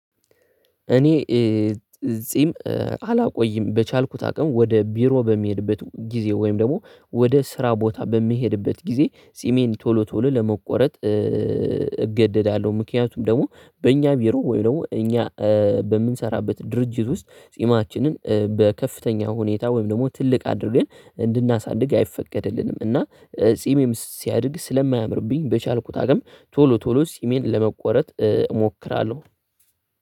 እኔ ጺም አላቆይም በቻልኩት አቅም ወደ ቢሮ በሚሄድበት ጊዜ ወይም ደግሞ ወደ ስራ ቦታ በሚሄድበት ጊዜ ጺሜን ቶሎ ቶሎ ለመቆረጥ። እገደዳለሁ ምክንያቱም ደግሞ በእኛ ቢሮ ወይም ደግሞ እኛ በምንሰራበት ድርጅት ውስጥ ጺማችንን በከፍተኛ ሁኔታ ወይም ደግሞ ትልቅ አድርገን እንድናሳድግ አይፈቀድልንም። እና ጺሜም ሲያድግ ስለማያምርብኝ በቻልኩት አቅም ቶሎ ቶሎ ጺሜን ለመቆረጥ እሞክራለሁ።